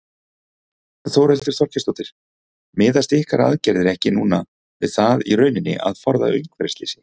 Þórhildur Þorkelsdóttir: Miðast ykkar aðgerðir ekki núna við það í rauninni að forða umhverfisslysi?